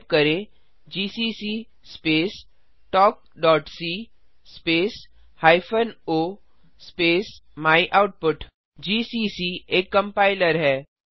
type करें GCC space talkसी space hyphen o space my output GCC एक कम्पाइलर है